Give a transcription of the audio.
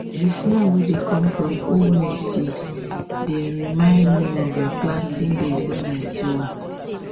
the smell wey dey come from old maize seeds dey um remind me remind me of um planting days when i small